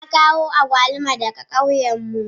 Na kawo agwaluma daga kauyenmu.